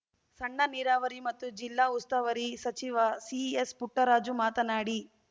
ಸಣ್ಣ ನೀರಾವರಿ ಮತ್ತು ಜಿಲ್ಲಾ ಉಸ್ತುವಾರಿ ಸಚಿವ ಸಿಎಸ್ಪುಟ್ಟರಾಜು ಮಾತನಾಡಿ